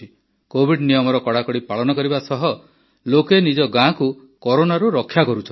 Covid ନିୟମର କଡ଼ାକଡ଼ି ପାଳନ କରିବା ସହ ଲୋକେ ନିଜ ଗାଁକୁ କରୋନାରୁ ରକ୍ଷା କରୁଛନ୍ତି